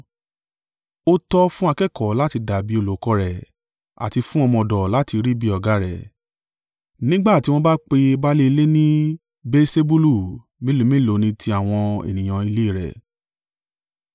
Ó tọ́ fún akẹ́kọ̀ọ́ láti dàbí olùkọ́ rẹ̀ àti fún ọmọ ọ̀dọ̀ láti rí bí ọ̀gá rẹ̀. Nígbà tí wọ́n bá pe baálé ilé ní Beelsebulu, mélòó mélòó ni ti àwọn ènìyàn ilé rẹ̀!